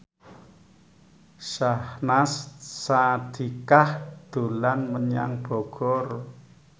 Syahnaz Sadiqah dolan menyang Bogor